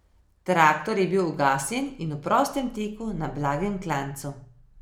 Traktor je bil ugasnjen in v prostem teku na blagem klancu.